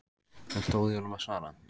Það stóð í honum að svara.